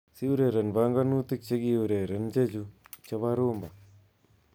Siri ureren banganutik chekiureren chechu chebo rhumba